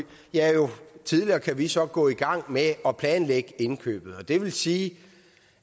tidligere kan vi så gå i gang med at planlægge indkøbet og det vil sige